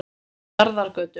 Njarðargötu